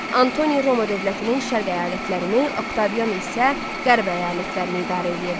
Antoni Roma dövlətinin şərq əyalətlərini, Oktavian isə qərb əyalətlərini idarə eləyirdi.